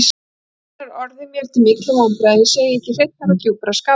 Og raunar orðið mér til mikilla vonbrigða, að ég segi ekki hreinnar og djúprar skapraunar.